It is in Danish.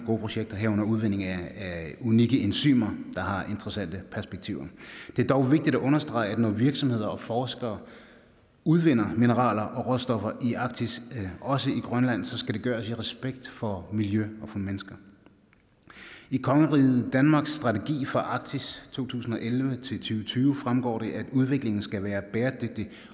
gode projekter herunder udvinding af unikke enzymer der har interessante perspektiver det er dog vigtigt at understrege at når virksomheder og forskere udvinder mineraler og råstoffer i arktis også i grønland skal det gøres i respekt for miljø og for mennesker i kongeriget danmarks strategi for arktis 2011 2020 fremgår det at udviklingen skal være bæredygtig